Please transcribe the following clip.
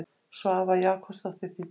Svava Jakobsdóttir þýddi.